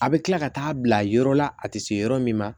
A bɛ kila ka taa bila yɔrɔ la a tɛ se yɔrɔ min na